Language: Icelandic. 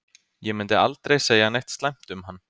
Ég myndi aldrei segja neitt slæmt um hann.